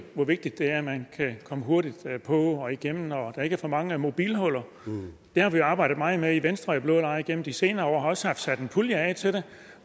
hvor vigtigt det er at man hurtigt på og igennem og at der ikke er for mange mobilhuller det har vi arbejdet meget med i venstre og i blå lejr igennem de senere år og vi har også haft sat en pulje af til det